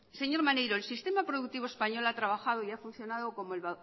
señor maneiro el sistema productivo español ha trabajado y ha funcionado como el